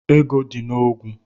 Ego dị na ogwu.